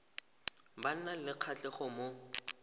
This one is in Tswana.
ba nang le kgatlhego mo